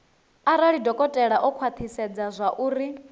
arali dokotela o khwathisedza zwauri